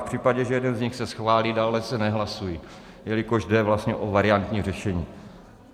V případě, že jeden z nich se schválí, dále se nehlasují, jelikož jde vlastně o variantní řešení.